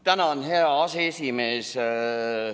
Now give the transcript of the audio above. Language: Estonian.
Tänan, hea aseesimees!